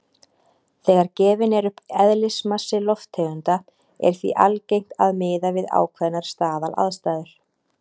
Þegar gefinn er upp eðlismassi lofttegunda er því algengt að miða við ákveðnar staðalaðstæður.